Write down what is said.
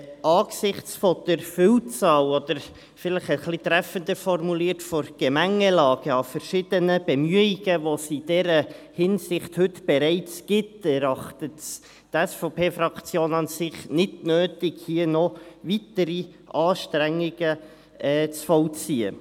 Angesichts der Vielzahl oder, vielleicht treffender formuliert, der Gemengelange an verschiedenen Bemühungen, welche es in dieser Hinsicht heute bereits gibt, erachtet es die SVPFraktion nicht als notwendig, hier noch weitere Anstrengungen zu vollziehen.